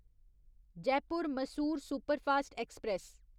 Jaipur Mysore superfast express